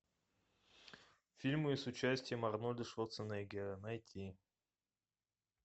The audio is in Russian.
фильмы с участием арнольда шварценеггера найти